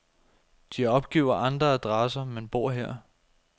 De opgiver andre adresser, men bor her.